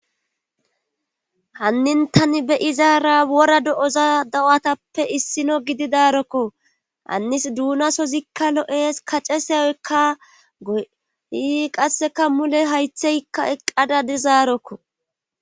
hannin tani be izaara wora do7oza dawatappe issino gidi daarokko hannis duunasozikka lo7ees kaceseyoykka goi qasseka mule haytheykka eqqada dizaarokko